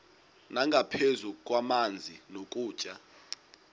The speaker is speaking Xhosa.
nangaphezu kwamanzi nokutya